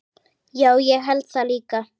Já, það held ég líka.